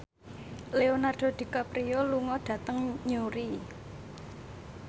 Leonardo DiCaprio lunga dhateng Newry